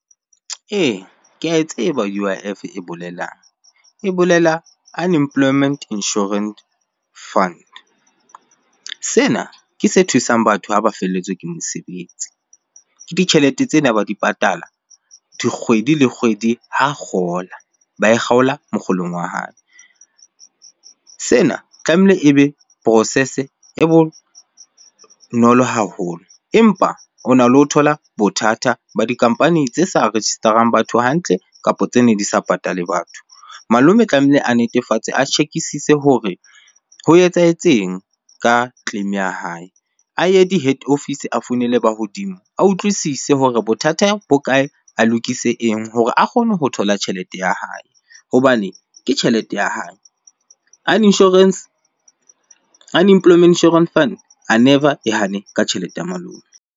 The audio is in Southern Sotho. Ee, ke ae tseba U_I_F e bolelang. E bolela Unemployment Insurance Fund. Sena ke se thusang batho ha ba felletswe ke mosebetsi. Ke ditjhelete tsene ba di patala di kgwedi le kgwedi ha kgola, ba e kgaola mokgolong wa hae. Sena tlamehile ebe process-e e bonolo haholo empa ona le ho thola bothata ba di company tse sa register-ang batho hantle kapo tsene di sa patale batho. Malome tlamehile a netefatse, a check-isise hore ho etsahetseng ka claim ya hae. A ye di head office, a founele ba hodimo. A utlwisise hore bothata bo kae? A lokise eng? Hore a kgone ho thola tjhelete ya hae hobane ke tjhelete ya hae. Unemployment Insurance Fund a never e hane ka tjhelete ya malome.